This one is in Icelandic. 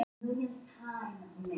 Sögulegar hagtölur um Ísland.